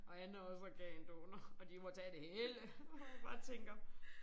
Og han er også organdonor og de må tage det hele. Bare tænker